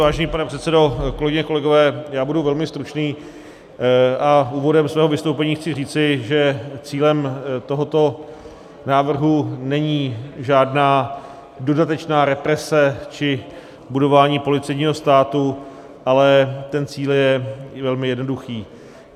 Vážený pane předsedo, kolegyně, kolegové, já budu velmi stručný a úvodem svého vystoupení chci říci, že cílem tohoto návrhu není žádná dodatečná represe či budování policejního státu, ale ten cíl je velmi jednoduchý.